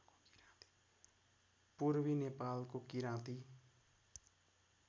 पूर्वी नेपालको किराँती